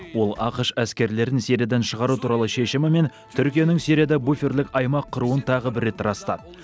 ол ақш әскерлерін сириядан шығару туралы шешімі мен түркияның сирияда буферлік аймақ құруын тағы бір рет растады